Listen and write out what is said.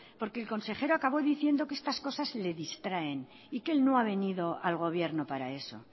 porque el consejero acabo diciendo que estas cosas les distraen y que él no ha venido al gobierno para eso